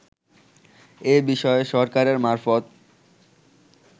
এ বিষয়ে সরকারের মারফত